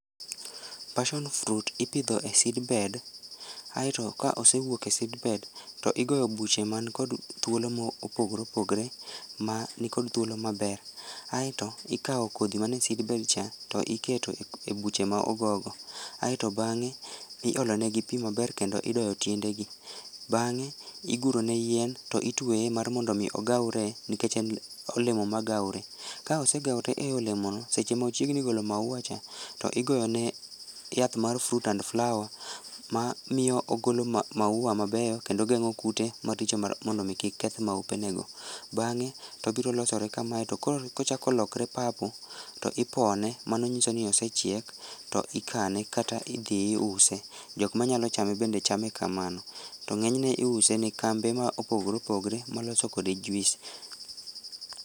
passion fruit ipidho e seedbed aeto ka osewuok e seedbed, to igoyo buche man kod thuolo mopogoreopogore man kod thuolo maber aeto ikao kodhi mantie eseedbed cha to iketo e buche ma ogo go aeto bang'e iolonegi pii maber kendo idoyo tiendegi bang'e iguronegi yien to itweye mar mondo gigawre nikech en olemo ma gawre, ka osegaore e olemono seche ma ochiegni ggolo maua cha igoyo ne yath mar fruit and flower ma miyo ogolo maua mabeyo kendo geng'o kute maricho mar mondo omii kik keth maupe nego bang'e to obirolosore kamae to kochako lokre purple to ipone mano nyiso ni osechiek to ikane kata idhii iuse, jokma nyalo chame bende chame kamano to ng'enyne iuse ne kambe ma opogore opogore maloso kode juice